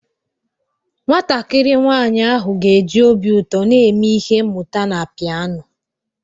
Nwatakịrị nwanyị ahụ ga-eji obi ụtọ na eme ihe mmuta na pianoo.